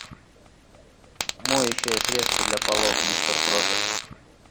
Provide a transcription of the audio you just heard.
моющее средство для полов мистер проппер